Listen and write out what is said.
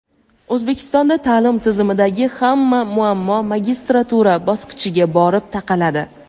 O‘zbekistonda ta’lim tizimidagi hamma muammo magistratura bosqichiga borib taqaladi.